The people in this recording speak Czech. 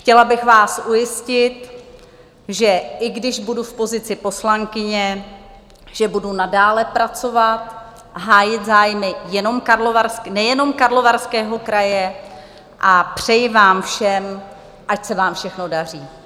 Chtěla bych vás ujistit, že i když budu v pozici poslankyně, že budu nadále pracovat, hájit zájmy nejenom Karlovarského kraje, a přeji vám všem, ať se vám všechno daří.